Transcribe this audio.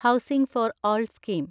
housing for all scheme